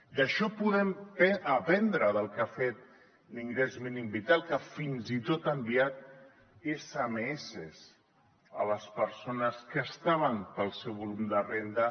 i d’això en podem aprendre del que ha fet l’ingrés mínim vital que fins i tot ha enviat smss a les persones que estaven pel seu volum de renda